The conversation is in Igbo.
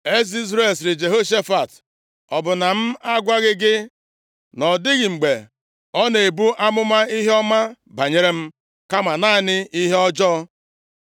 Eze Izrel sịrị Jehoshafat, “Ọ bụ na m agwaghị gị na ọ dịghị mgbe ọ na-ebu amụma ihe ọma banyere m, kama naanị ihe ọjọọ?”